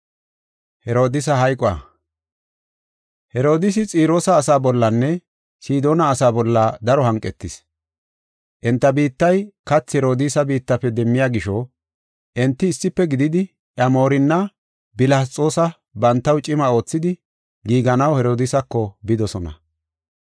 Herodiisi Xiroosa asa bollanne Sidoona asaa bolla daro hanqetis. Enta biittay kathi Herodiisa biittafe demmiya gisho enti issife gididi iya Moorinna Bilasxoosa bantaw cima oothidi giiganaw Herodiisako bidosona.